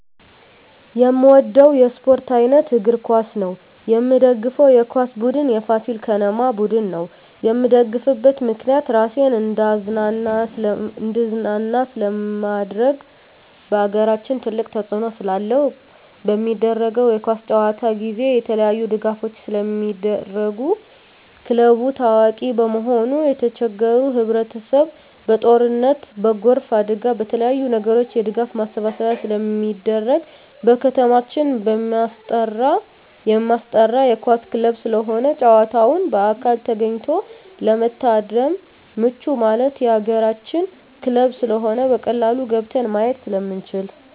የምወደው የስፓርት አይነት እግር ኳስ ነው። የምደግፈው የኳስ ቡድን የፋሲል ከነማ ቡድን ነው። የምደግፍበት ምክንያት ራሴን እንዳዝናና ስለማደርግ በአገራችን ትልቅ ተፅዕኖ ስላለው። በሚደረገው የኳስ ጨዋታ ጊዜ የተለያዪ ድጋፎች ስለሚደረጉ ክለቡ ታዋቂ በመሆኑ የተቸገሩ ህብረቸሰብ በጦርነት በጎርፍ አደጋ በተለያዪ ነገሮች የድጋፍ ማሰባሰቢያ ስለሚደረግ። በከተማችን የማስጠራ የኳስ ክለብ ስለሆነ ጨዋታውን በአካል ተገኝቶ ለመታደም ምቹ ማለት የአገራችን ክለብ ስለሆነ በቀላሉ ገብተን ማየት ስለምንችል።